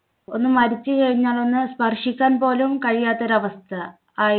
ഒന്നു മരിച്ചു കഴിഞ്ഞാൽ ഒന്ന് സ്പർശിക്കാൻ പോലും കഴിക്കാത്ത ഒരു അവസ്ഥ ആയി.